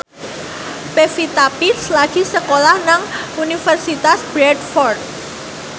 Pevita Pearce lagi sekolah nang Universitas Bradford